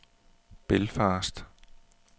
Belfast